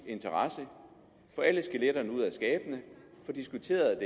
interesse at få alle skeletterne ud af skabene få diskuteret